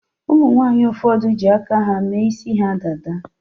Umunwanyi ụfọdụ ji aka ha mee isi ha dada.